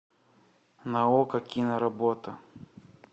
на окко киноработа